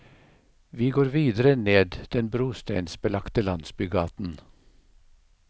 Vi går videre ned den brosteinsbelagte landsbygaten.